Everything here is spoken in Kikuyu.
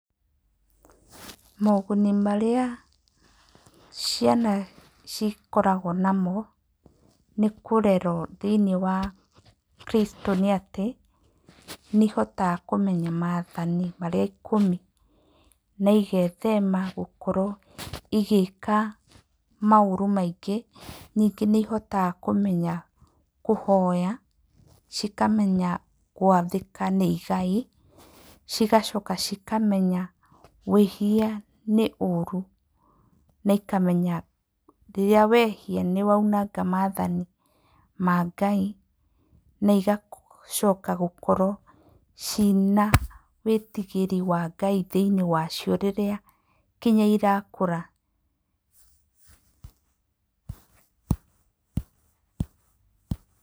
Moguni marĩa ciana cikoragwo namo nĩ kũrerwo thĩinĩ wa Kristo nĩ atĩ nĩ ihotaga kũmenya maathani marĩa ikũmi, na igethema gũkorwo igĩka maũru maingĩ. Ningĩ nĩ ihotaga kũmenya kũhoya, cikamenya gwathĩka nĩ igai, cigacoka cikamenya wĩhia nĩ ũũru na ikamenya rĩrĩa wehia ni woinanga maathani ma Ngai, na igacoka gũkorwo ciina wĩtigĩri wa Ngai thĩinĩ wacio rĩrĩa nginya irakũra.